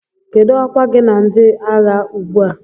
Kedụ ọkwa gị na ndị agha ugbu a?